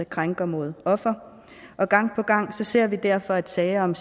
krænker mod offer og gang på gang ser vi derfor at sager om